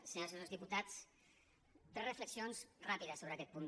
senyores i senyors diputats tres reflexions ràpides sobre aquest punt